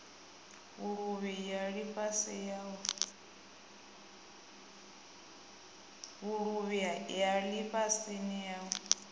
vhuluvhi ya lifhasini u ya